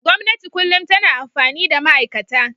Gwamnati kullum tana amfani da ma'aikata.